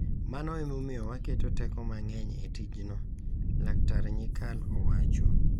Mano e momiyo waketo teko mang’eny e tijno,” Laktar Nyikal owacho